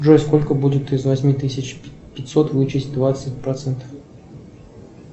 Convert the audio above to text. джой сколько будет из восьми тысяч пятьсот вычесть двадцать процентов